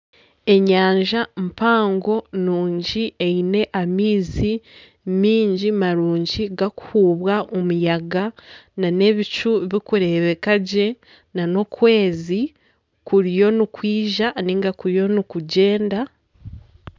Enyanja mpango nungi eine amaizi mingi marungi garikuhubwa omuyaga nana ebicu barikureebeka gye nana okwezi kuriyo nikwija ninga kuri nikugyenda